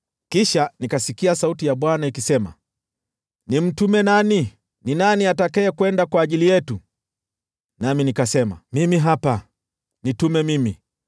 Kisha nikasikia sauti ya Bwana ikisema, “Nimtume nani? Ni nani atakayekwenda kwa ajili yetu?” Nami nikasema, “Mimi hapa. Nitume mimi!”